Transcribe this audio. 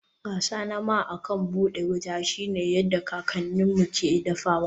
Gasa nama akan buɗe wuta shine yadda kakanninmu ke dafawa.